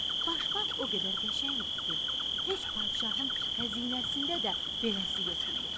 Başmaq o qədər qəşəng idi ki, heç padşahın xəzinəsində də beləsi yox idi.